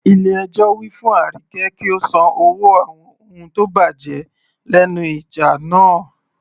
Ilé ẹjọ́ wí fún Arike kí ó san owó àwọn ohun tó bàjẹ́ lẹ́nu ìjà náà.